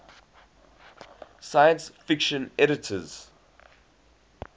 science fiction editors